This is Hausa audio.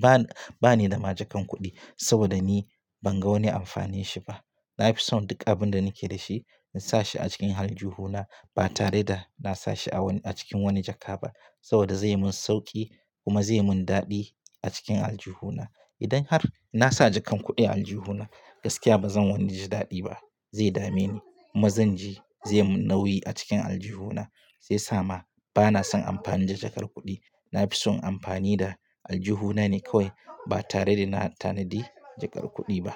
bana, ba ni da ma jakan kuɗi saboda ni ban ga wani amfanin shi ba. Na fi son duk abin da nake da shi in sa shi a cikin aljihu na ba tare da na sa shi a wani a cikin wani jaka ba saboda zai yi min sauƙi kuma zai yi min daɗi a cikin aljihu na. Idan har na sa jakan kuɗi a aljihu na gaskiya ba zan wani ji daɗi ba, zai dame ni kuma zan ji zai yi nauyi a cikin aljihu na. Zai sa ma bana son amfani da jakar kuɗi. Na fi son amfani da aljihu na ne kawai ba tare da na tanadi jakar kuɗi ba.